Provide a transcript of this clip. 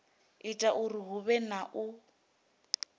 ita uri huvhe na u